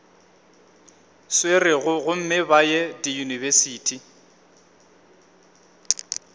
swerego gomme ba ye diyunibesithi